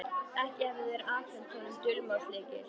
Ekki hefðu þeir afhent honum dulmálslykil.